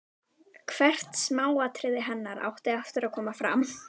Hvert smáatriði hennar átti eftir að koma fram.